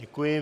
Děkuji.